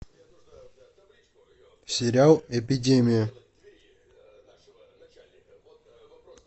сериал эпидемия